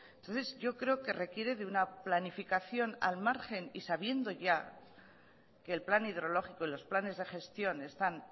entonces yo creo que requiere de una planificación al margen y sabiendo ya que el plan hidrológico y los planes de gestión están